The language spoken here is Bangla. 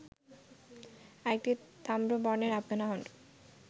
আরেকটি তাম্র বর্ণের আফগান হাউন্ড